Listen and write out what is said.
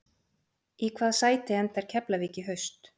Í hvaða sæti endar Keflavík í haust?